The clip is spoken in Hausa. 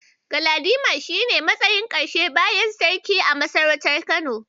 Galadima shi ne matsayin Karshe bayan Sarki a masarautar Kano.